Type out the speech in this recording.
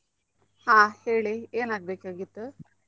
ಹಾ ಹೇಳಿ ಏನ್ ಆಗ್ಬೇಕ್ ಆಗಿತ್ತು?